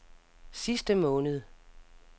sidste måned